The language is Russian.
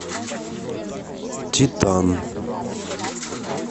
титан